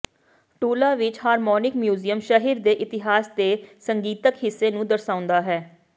ਟੂਲਾ ਵਿਚ harmonic museum ਸ਼ਹਿਰ ਦੇ ਇਤਿਹਾਸ ਦੇ ਸੰਗੀਤਿਕ ਹਿੱਸੇ ਨੂੰ ਦਰਸਾਉਂਦਾ ਹੈ